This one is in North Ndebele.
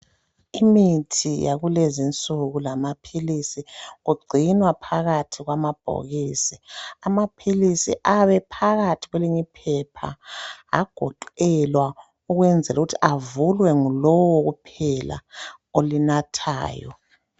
Imithi yakulezinsuku lamaphilisi kugcinwa phakathi kwamabhokisi amaphilisi ayabephakathi kwelinye iphepha agoqelwa ukwenzela ukuthi avulwe ngulowo kuphela olinathayo.